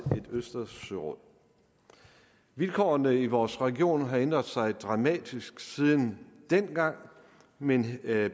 et østersøråd vilkårene i vores region har ændret sig dramatisk siden dengang men